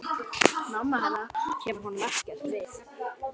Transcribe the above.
Mamma hennar kemur honum ekkert við.